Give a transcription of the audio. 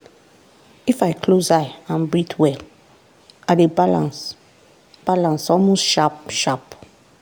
if i close eye and breathe well i dey balance balance almost sharp-sharp.